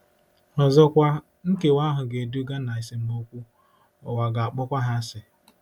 Ọzọkwa, nkewa ahụ ga-eduga ná esemokwu - ụwa ga-akpọ ha asị.